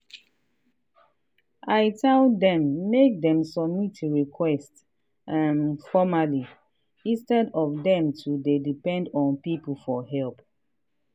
i tell dem make dem submit request um formerly instead of dem to dey depend on people for help.